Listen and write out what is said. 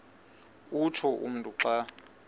utsho umntu xa